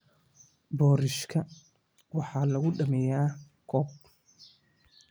Boorashka waxaa lagu dhammeeyaa koob.